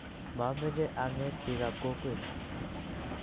mameche ang'et biikab kokwet